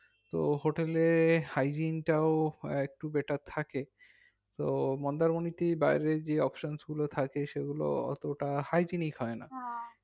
তো hotel এ hygiene টাও আঃ একটু better থাকে তো মন্দারমণি তে বাইরের যে options গুলো থাকে সেগুলো অতটা hiclinic হয় না